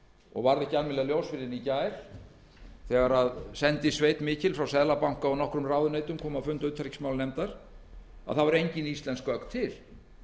og varð ekki almennilega ljós fyrr en í gær þegar sendisveit mikil frá seðlabanka og nokkrum ráðuneytum kom á fund utanríkismálanefndar þá kom í ljós að engin íslensk gögn voru til